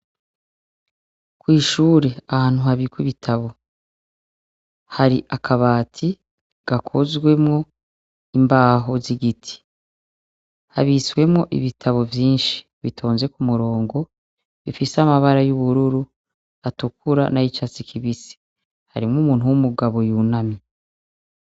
Kw'ishure ahantu habikwa ibitabo hari akabati gakozwemwo imbaho z'igiti. Habitsemwo ibitabo vyinshi bitonze ku murongo, bifise amabara y'ubururu, atukura n'ayicatsi kibisi. Harimwo umuntu w'umugabo yunamye.